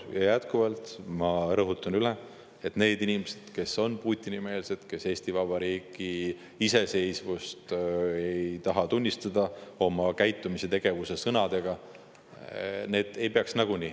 Ja jätkuvalt ma rõhutan üle, et need inimesed, kes on Putini-meelsed, kes ei taha oma käitumise, tegevuse, sõnadega Eesti Vabariigi iseseisvust tunnistada, kohalikel valimistel osalema ei peaks.